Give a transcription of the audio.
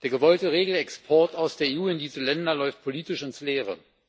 Der gewollte Regelexport aus der EU in diese Länder läuft politisch ins Leere.